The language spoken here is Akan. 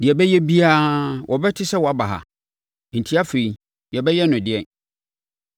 Deɛ ɛbɛyɛ biara, wɔbɛte sɛ woaba ha. Enti, afei yɛbɛyɛ no ɛdeɛn?